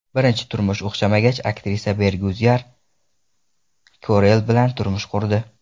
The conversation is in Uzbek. Birinchi turmush o‘xshamagach, aktrisa Bergyuzar Korel bilan turmush qurdi.